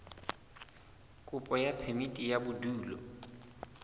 kopo ya phemiti ya bodulo